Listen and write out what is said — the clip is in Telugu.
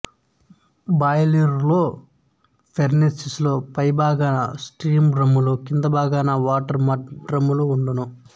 బాయిలరులో ఫర్నేసులో పైభాగాన స్టీము డ్రమ్ములు కింద భాగాన వాటరుమడ్ డ్రమ్ములు వుండును